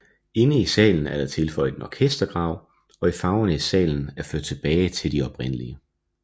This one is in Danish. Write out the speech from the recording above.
Inde i salen er der tilføjet en orkestergrav og farverne i salen er ført tilbage de oprindelige